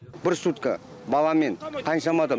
бір сутка бала мен қаншама адам